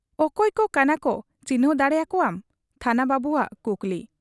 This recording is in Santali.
ᱼᱼᱚᱠᱚᱭ ᱠᱚ ᱠᱟᱱᱟᱠᱚ ᱪᱤᱱᱦᱟᱹᱣ ᱫᱟᱲᱮ ᱟᱠᱚᱣᱟᱢ ? ᱛᱷᱟᱱᱟ ᱵᱟᱹᱵᱩᱣᱟᱜ ᱠᱩᱠᱞᱤ ᱾